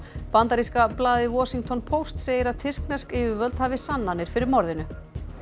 bandaríska blaðið Washington Post segir að tyrknesk yfirvöld hafi sannanir fyrir morðinu